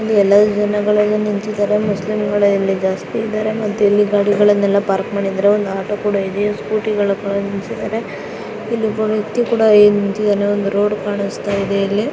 ಇಲ್ಲಿ ಎಲ್ಲಾ ಜನಗಳು ನಿಂತಿದ್ದಾರೆ ಮುಸ್ಲಿಮ್ಗಳು ಇಲ್ಲಿ ಜಾಸ್ತಿ ಇದರೆ ಮತ್ತೆ ಗಾಡಿಗಳನೆಲ್ಲಾ ಪಾರ್ಕ್ ಮಾಡಿದರೆ ಒಂದ ಆಟೋ ಕೂಡ ಇದೆ ಸ್ಕೂಟಿ ಗಳು ಕೂಡ ನಿಲ್ಲಸಿದರೆ ಇಲ್ಲಿ ಒಬ್ಬ ವ್ಯಕ್ತಿ ಕೂಡ ನಿಂತಿದನೆ ಒಂದು ರೋಡ್ ಕಾಣಸ್ತಿದೆ ಇಲ್ಲಿ.